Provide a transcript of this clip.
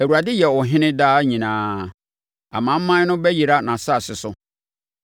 Awurade yɛ ɔhene daa nyinaa; amanaman no bɛyera nʼasase so.